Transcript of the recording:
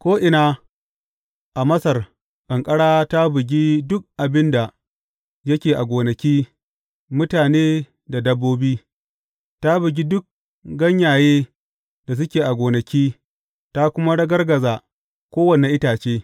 Ko’ina a Masar ƙanƙara ta bugi duk abin da yake a gonaki, mutane da dabbobi, ta bugi duk ganyaye da suke a gonaki, ta kuma ragargaza kowane itace.